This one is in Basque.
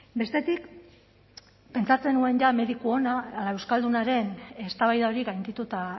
bestetik pentsatzen nuen mediku ona ala euskaldunaren eztabaida hori gaindituta